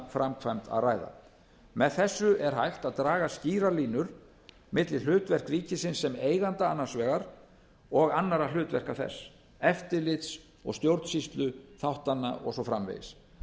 framkvæmd að ræða með þessu er hægt að draga skýrar línur milli hlutverks ríkisins sem eigenda annars vegar og annarra hlutverka þess eftirlits og stjórnsýsluþáttanna og svo framvegis